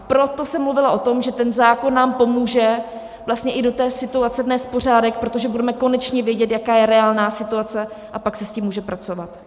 Proto jsem mluvila o tom, že ten zákon nám pomůže vlastně i do té situace vnést pořádek, protože budeme konečně vědět, jaká je reálná situace, a pak se s tím může pracovat.